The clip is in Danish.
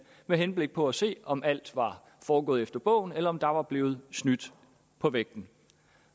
med henblik på at se om alt var foregået efter bogen eller om der var blevet snydt på vægten